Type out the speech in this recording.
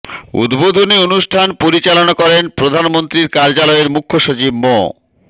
উদ্বোধনী অনুষ্ঠান পরিচালনা করেন প্রধানমন্ত্রীর কার্যালয়ের মুখ্য সচিব মো